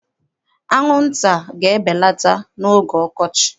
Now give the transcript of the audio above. Anwụnta ga-ebelata n'oge ọkọchị.